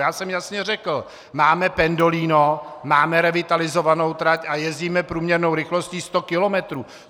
Já jsem jasně řekl: Máme pendolino, máme revitalizovanou trať a jezdíme průměrnou rychlostí 100 kilometrů.